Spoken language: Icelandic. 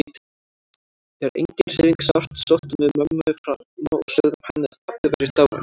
Þegar engin hreyfing sást sóttum við mömmu fram og sögðum henni að pabbi væri dáinn.